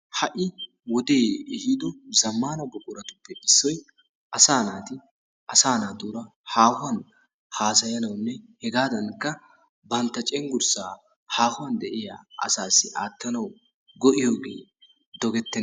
Ha"i wode ehiiddo zammana buqquratuppe issoy asaa naati asaa naatuura haahuwan haassyanawunne hegaadankka bantta cenggurssaa haahuwan de'iya asaassi aattanawu go'iyogee dogettenna.